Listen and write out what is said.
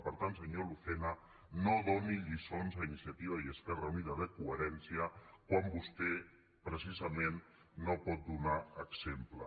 per tant senyor lucena no doni lli·çons a iniciativa i esquerra unida de coherència quan vostè precisament no pot donar exemple